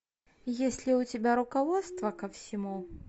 есть ли у тебя руководство ко всему